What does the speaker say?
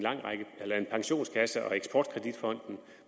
pensionskasse og eksport kredit fonden